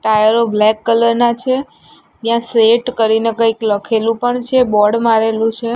ટાયરો black colour ના છે ત્યાં સેઠ કરીને કઇક લખેલુ પણ છે બોર્ડ મારેલુ છે.